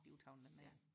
der var travlt den dag